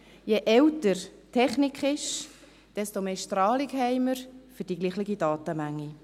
Je älter die Technik ist, desto mehr Strahlung haben wir für die gleiche Datenmenge.